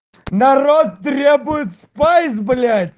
народ требует спайс блять